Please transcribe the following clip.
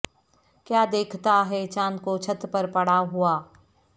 کیا دیکھتا ہے چاند کو چھت پر پڑا ہوا